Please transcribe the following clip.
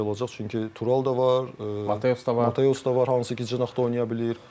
olacaq, çünki Tural da var, Mateos da var, Mateos da var, hansı ki, cinahda oynaya bilir.